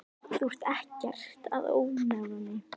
Þú ert ekkert að ónáða mig.